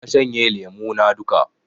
Na shanye lemo na duka